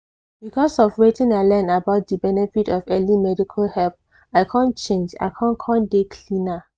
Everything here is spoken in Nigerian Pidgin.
because of wetin i learn about di benefit of early medical help i come change i con con dey cleaner.